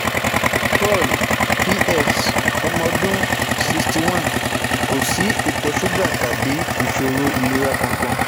Paul PS, omo odun sixty one, ko si ito suga tabi isoro ilera kan kan